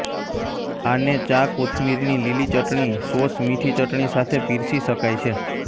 આને ચા કોથમીરની લીલી ચટણી સોસ મીઠી ચટણી સાથે પીરસી શકાય છે